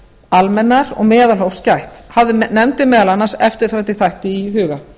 almennar og meðalhófs gætt hafði nefndin meðal annars eftirfarandi þætti í huga